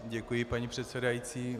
Děkuji, paní předsedající.